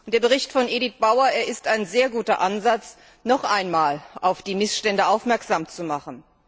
Der Bericht von Edit Bauer ist ein sehr guter Ansatz, noch einmal auf die Missstände aufmerksam zu machen.